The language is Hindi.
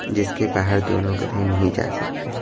जिसके बाहर दोनों गधे नहीं जा सकते--